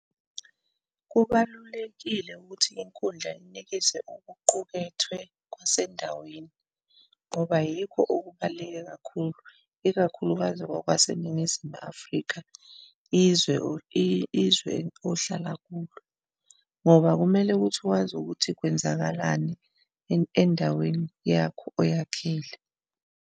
Kubalulekile ukuthi inkundla inikezwe okuqukethwe kwasendaweni, ngoba yikho okubaluleke kakhulu, ikakhulukazi kwakwaseNingizimu Afrika, izwe izwe ohlala kulo ngoba kumele ukuthi wazi ukuthi kwenzakalani endaweni yakho oyakhile.